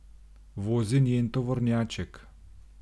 Vozi njen tovornjaček.